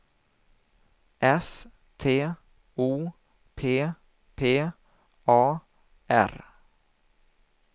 S T O P P A R